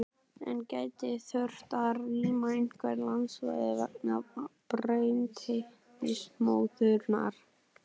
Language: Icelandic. En gæti þurft að rýma einhver landsvæði vegna brennisteinsmóðunnar?